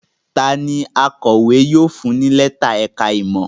Ta ni akọ̀wé yóò fún ní lẹ́tà ẹ̀ka-ìmọ̀?